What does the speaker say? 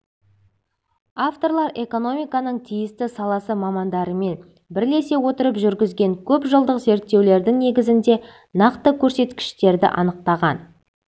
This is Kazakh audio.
авторлар экономиканың тиісті саласы мамандарымен бірлесе отырып жүргізген көпжылдық зерттеулердің негізінде нақты көрсеткіштерді анықтаған